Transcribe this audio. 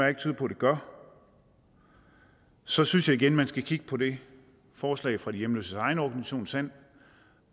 ikke tyder på det gør så synes jeg igen man skal kigge på det forslag fra de hjemløses egen organisation sand